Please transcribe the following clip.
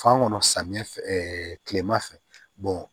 Fan kɔnɔ samiyɛ fɛ kilema fɛ